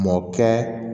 Mɔkɛ